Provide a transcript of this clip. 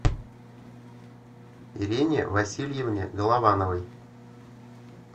ирине васильевне головановой